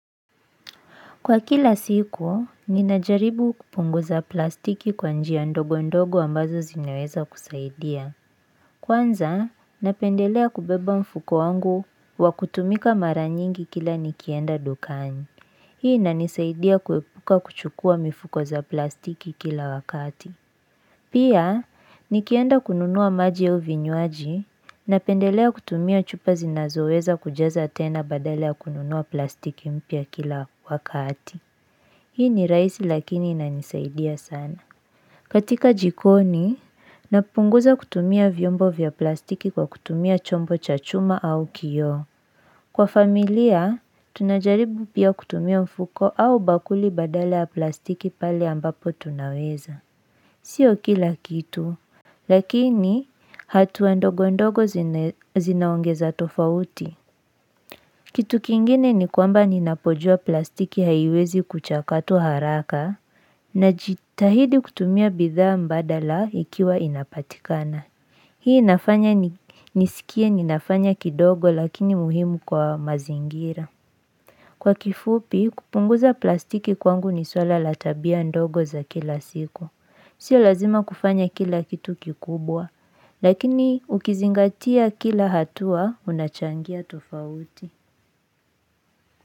Kwa kila siku, ninajaribu kupunguza plastiki kwa njia ndogo ndogo ambazo zinaweza kusaidia. Kwanza, napendelea kubeba mfuko wangu wa kutumika maranyingi kila nikienda dukani. Hii inanisaidia kuepuka kuchukua mifuko za plastiki kila wakati. Pia, nikienda kununua maji au vinywaji, napendelea kutumia chupa zinazoweza kujaza tena badala ya kununua plastiki mpya kila wakati. Hii ni rahisi lakini inanisaidia sana. Katika jikoni, napunguza kutumia vyombo vya plastiki kwa kutumia chombo cha chuma au kioo. Kwa familia, tunajaribu pia kutumia mfuko au bakuli badala ya plastiki pale ambapo tunaweza. Sio kila kitu. Lakini, hatua ndogo ndogo zinaongeza tofauti. Kitu kingine ni kwamba ninapojua plastiki haiwezi kuchakatu haraka. Na jitahidi kutumia bidhaa mbadala ikiwa inapatikana Hii inafanya nisikie ninafanya kidogo lakini muhimu kwa mazingira Kwa kifupi kupunguza plastiki kwangu ni swala la tabia ndogo za kila siku Sio lazima kufanya kila kitu kikubwa Lakini ukizingatia kila hatua unachangia tofauti.